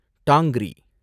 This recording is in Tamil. டாங்ரி